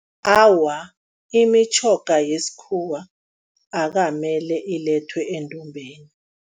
Awa, imitjhoga yesikhuwa akamele ilethwe endumbeni.